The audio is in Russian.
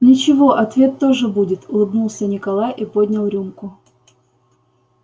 ничего ответ тоже будет улыбнулся николай и поднял рюмку